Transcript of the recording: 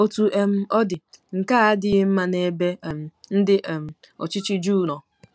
Otú um ọ dị, nke a adịghị mma n'ebe um ndị um ọchịchị Juu nọ.